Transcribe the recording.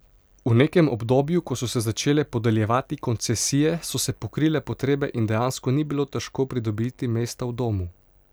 V nekem obdobju, ko so se začele podeljevati koncesije, so se pokrile potrebe in dejansko ni bilo težko pridobiti mesta v domu.